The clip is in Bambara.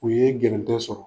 U ye gɛrɛntɛ sɔrɔ.